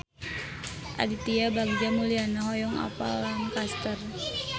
Aditya Bagja Mulyana hoyong apal Lancaster